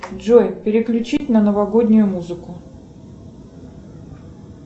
джой переключить на новогоднюю музыку